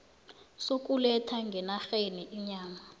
sokuletha ngenarheni inyama